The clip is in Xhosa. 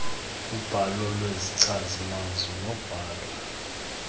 ubhalo lwezichazimazwi nobhalo